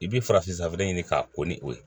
I b'i farafin safinɛ ɲini k'a ko ni o ye